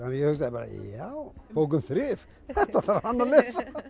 ég hugsaði bara já bók um þrif þetta þarf hann að lesa